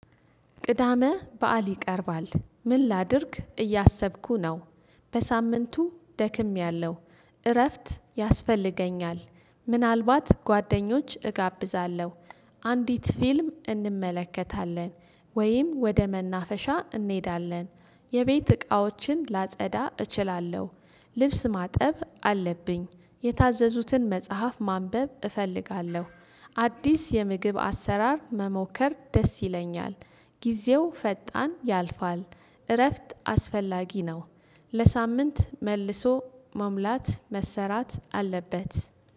ቅዳመ በዓል ይቀርባል ምን ላድርግ እያሰብኩ ነው። በሳምንቱ ደክሜያለሁ። እረፍት ያስፈልገኛል ምናልባት ጓደኞች እጋብዛለሁ። አንዲት ፊልም እንመለከታለን። ወይም ወደ መናፈሻ እንሄዳለን። የቤት እቃዎችን ላጸዳ እችላለሁ። ልብስ ማጠብ አለብኝ። የታዘዙትን መጽሐፍ ማንበብ እፈልጋለሁ። አዲስ የምግብ አሰራር መሞከር ደስ ይለኛል። ጊዜው ፈጣን ያልፋል። እረፍት አስፈላጊ ነው። ለሳምንት መልሶ መሙላት መሰራት አለበት